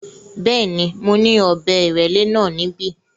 Bẹ́ẹ̀ ni, mo ní ọ̀bẹ ìrẹ́lẹ́ náà níbí.